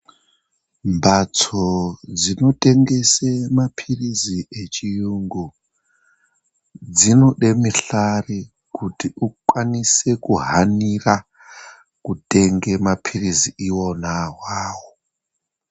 Mbatso dzinotengesa mapirizi dzechirungu dzinopamisharu kuti vakwanise kuhanira kutenga mapirizi iwona awawo.